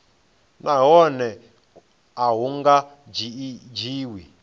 nahone a hu nga dzhiwi